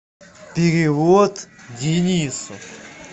перевод денису